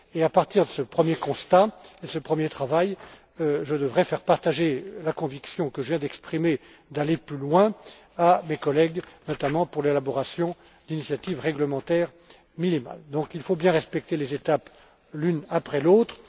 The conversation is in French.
À partir de ce premier constat et de ce premier travail, je devrai faire partager la conviction que je viens d'exprimer d'aller plus loin à mes collègues, notamment pour l'élaboration d'initiatives réglementaires minimales. Il faut donc bien respecter les étapes l'une après l'autre.